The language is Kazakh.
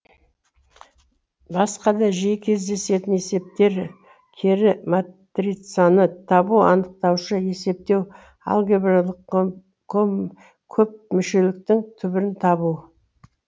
басқа да жиі кездесетін есептері кері матрицаны табу анықтауышы есептеу алгебралық көпмүшеліктің түбірін табу